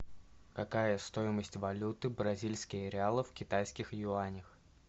какая стоимость валюты бразильские реалы в китайских юанях